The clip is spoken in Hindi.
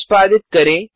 निष्पादित करें